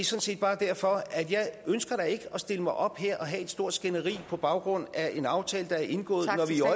set bare derfor jeg ønsker da ikke at stille mig op her og have et stort skænderi på baggrund af en aftale der er indgået